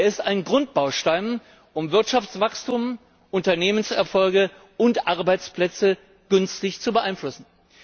Er ist ein Grundbaustein, um Wirtschaftswachstum, Unternehmenserfolge und Arbeitsplätze günstig zu beeinflussen.